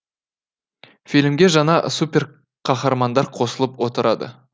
фильмге жаңа суперқаһармандар қосылып отырады